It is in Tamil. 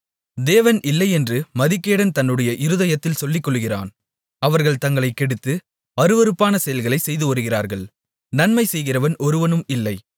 தேவன் இல்லை என்று மதிகேடன் தன்னுடைய இருதயத்தில் சொல்லிக்கொள்ளுகிறான் அவர்கள் தங்களைக்கெடுத்து அருவருப்பான செயல்களைச் செய்துவருகிறார்கள் நன்மைசெய்கிறவன் ஒருவனும் இல்லை